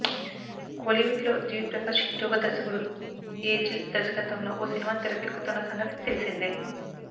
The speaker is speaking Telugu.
కోలీవుడ్ లో జివి ప్రకాష్ హీరోగా దర్శకుడు ఏజిల్ దర్శకత్వంలో ఓ సినిమా తెరకెక్కుతున్న సంగతి తెలిసిందే